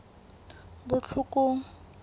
botlhokong